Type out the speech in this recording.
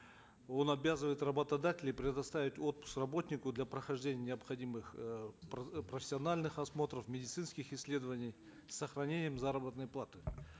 он обязывает работодателей предоставить отпуск работнику для прохождения необходимых э профессиональных осмотров медицинских исследований с сохранением заработной платы